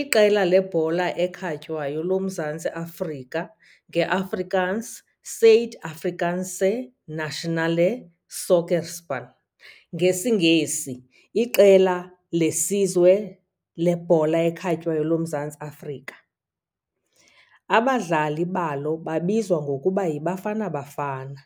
Iqela lebhola ekhatywayo loMzantsi Afrika, ngeAfrikaans "Suid-Afrikaanse nasionale sokkerspan", ngesiNgesi "Iqela lesizwe lebhola ekhatywayo loMzantsi Afrika", abadlali balo babizwa ngokuba "yiBafana Bafana",